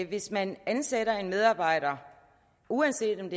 hvis man ansætter en medarbejder uanset om